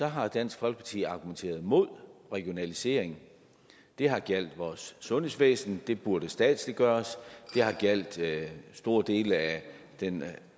har dansk folkeparti argumenteret imod regionalisering det har gjaldt vores sundhedsvæsen der burde statsliggøres det har gjaldt store dele af den